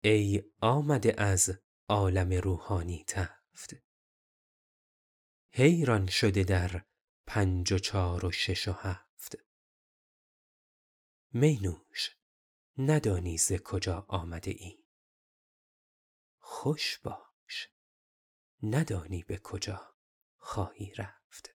ای آمده از عالم روحانی تفت حیران شده در پنج و چهار و شش و هفت می نوش ندانی ز کجا آمده ای خوش باش ندانی به کجا خواهی رفت